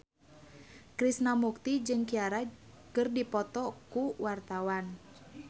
Krishna Mukti jeung Ciara keur dipoto ku wartawan